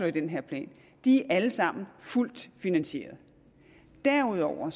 i den her plan alle sammen fuldt finansierede derudover